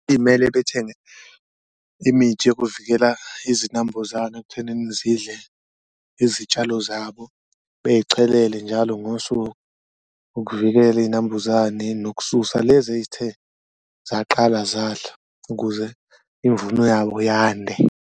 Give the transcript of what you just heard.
Imele bethenge imithi yokuvikela izinambuzane ekuthenini zidle izitshalo zabo beyichelele njalo ngosuku ukuvikela iy'nambuzane nokususa lezi eyithe zaqala zadla, ukuze imvuno yabo yande.